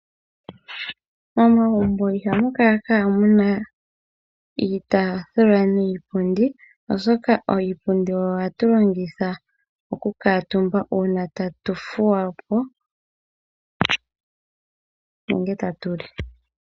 Momagumbo iha mu kala ka muna iitaafula niipundi, oshoka iipundi oyo ha yi longithwa oku kuutumba uuna aantu ta ya thuwa po, nenge ta ya li.